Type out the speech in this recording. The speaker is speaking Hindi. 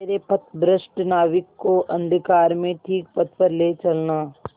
मेरे पथभ्रष्ट नाविक को अंधकार में ठीक पथ पर ले चलना